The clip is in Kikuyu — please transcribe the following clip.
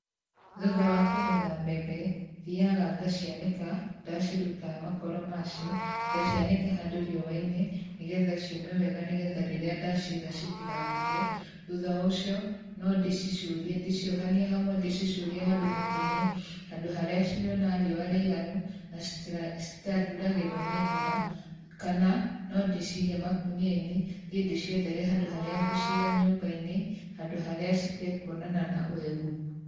Thutha wa kũgetha mbembe, thiaga ngacianĩka ndaciruta makoro macio, ngacianĩka handũ rĩua-inĩ nĩgetha ciũme wega nĩgetha rĩrĩa ndaciga citigabuthe. Thutha wa ũcio, no ndĩcicurie ndĩciohanie hamwe ndĩcicurie handũ mũtĩ-inĩ handũ harĩa cirĩonaga riũa rĩiganu na citariuragĩrwo nĩ mbura kana no ndĩcige makũnia-inĩ, thiĩ ndĩciethere handũ harĩa ngũciga nyũmba-inĩ, handũ harĩa citekuonana na ũhehu.